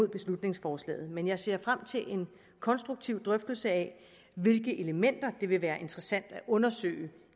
beslutningsforslaget men jeg ser frem til en konstruktiv drøftelse af hvilke elementer det vil være interessant at undersøge